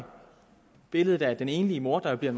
billedet af den enlige mor der jo bliver